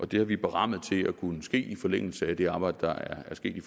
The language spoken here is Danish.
det har vi berammet til at kunne ske i forlængelse af det arbejde der er sket i